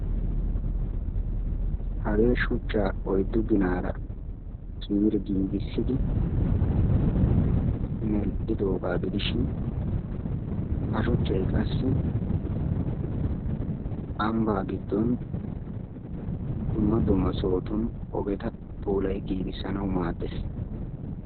hagee shuchchaa oyddu ginaara ciiri giigissi medhidoogaa gidishin ha shuchchay qassi ambaa giddon dumma dumma sohotun ogeta puulayidi giigisanawu maadees.